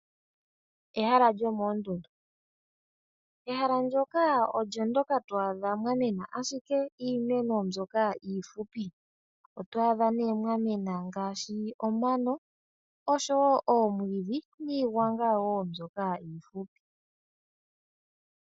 Ehala lyomoondundu. Ehala ndjoka olyo ndjoka twa adha mwa mena ashike iimeno mbyoka iifupi, oto adha mwa mena, ngaashi omano osho wo omwiidhi, niigwanga wo mbyoka iifupi.